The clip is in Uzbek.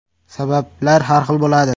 Sabablar har xil bo‘ladi.